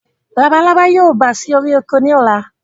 Labalábá yóò bà sí orí oko ni ọ̀la